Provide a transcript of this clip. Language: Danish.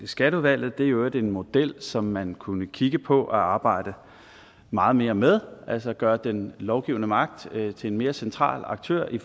skatteudvalget det er i øvrigt en model som man kunne kigge på og arbejde meget mere med altså at gøre den lovgivende magt til en mere central aktør i